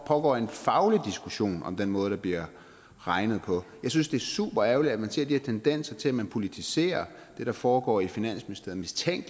pågår en faglig diskussion om den måde der bliver regnet på jeg synes det er superærgerligt at vi ser de her tendenser til at man politiserer det der foregår i finansministeriet